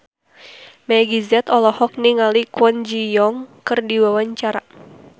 Meggie Z olohok ningali Kwon Ji Yong keur diwawancara